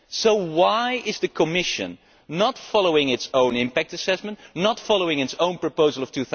So why is the Commission not following its own impact assessment, not following its own proposal of